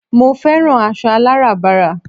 mo fẹ́ràn aṣọ aláràbarà